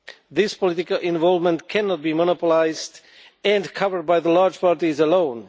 This political involvement cannot be monopolised and covered by the large parties alone.